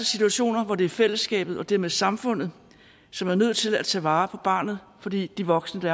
situationer hvor det er fællesskabet og dermed samfundet som er nødt til at tage vare på barnet fordi de voksne